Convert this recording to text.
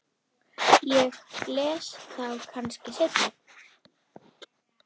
Ég les þá kannski seinna.